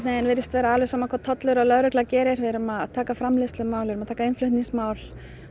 virðist vera alveg sama hvað tollur og lögregla gerir við erum að taka framleiðslumál við erum að taka innflutningsmál